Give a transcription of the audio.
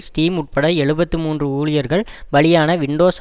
steam உட்பட எழுபத்து மூன்று ஊழியர்கள் பலியான விண்டோஸ்